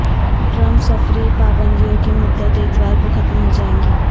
Trump سفری پابندیوں کی مدت اتوار کو ختم ہو جائے گی